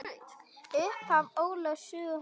Upphaf Ólafs sögu helga.